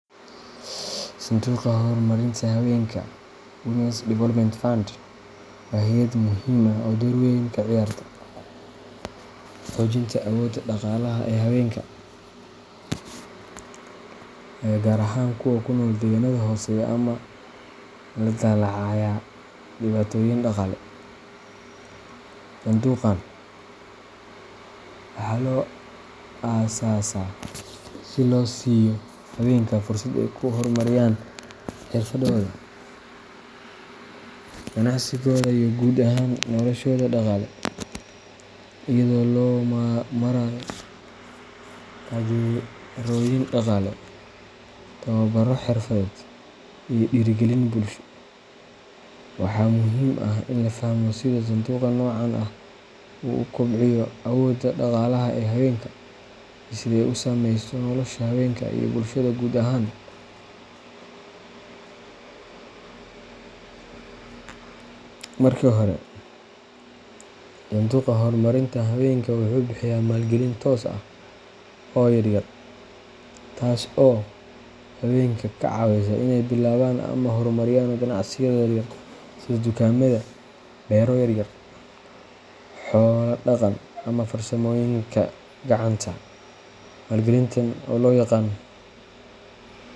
Sanduuqa Horumarinta Hawenka Women's Development Fund waa hay’ad muhiim ah oo door weyn ka ciyaarta xoojinta awoodda dhaqaalaha ee haweenka, gaar ahaan kuwa ku nool deegaanada hooseeya ama la daalaa dhacaya dhibaatooyin dhaqaale. Sanduuqan waxaa loo aasaasaa si loo siiyo haweenka fursad ay ku horumariyaan xirfadooda, ganacsigooda, iyo guud ahaan noloshooda dhaqaale, iyadoo loo marayo taageerooyin dhaqaale, tababarro xirfadeed, iyo dhiirrigelin bulsho. Waxaa muhiim ah in la fahmo sida sanduuqa noocan ah u kobciyo awooda dhaqaalaha ee haweenka iyo sida ay u saameyso nolosha haweenka iyo bulshada guud ahaan. Marka hore, sanduuqa horumarinta hawenka wuxuu bixiya maalgelin toos ah oo yaryar, taas oo haweenka ka caawisa inay bilaabaan ama horumariyaan ganacsiyada yaryar sida dukaamada, beero yaryar, xoolo dhaqan, ama farsamooyinka gacanta. Maalgelintan oo loo yaqaan.